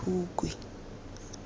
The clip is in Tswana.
phukwi